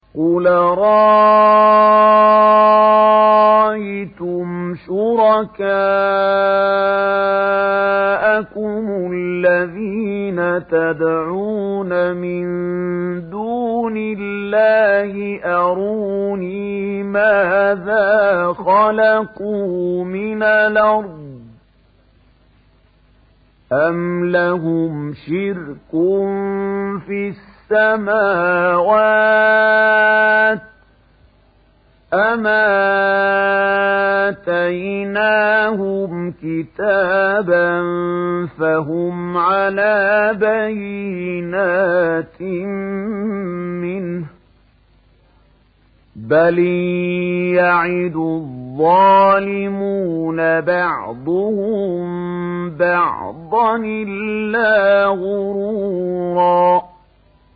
قُلْ أَرَأَيْتُمْ شُرَكَاءَكُمُ الَّذِينَ تَدْعُونَ مِن دُونِ اللَّهِ أَرُونِي مَاذَا خَلَقُوا مِنَ الْأَرْضِ أَمْ لَهُمْ شِرْكٌ فِي السَّمَاوَاتِ أَمْ آتَيْنَاهُمْ كِتَابًا فَهُمْ عَلَىٰ بَيِّنَتٍ مِّنْهُ ۚ بَلْ إِن يَعِدُ الظَّالِمُونَ بَعْضُهُم بَعْضًا إِلَّا غُرُورًا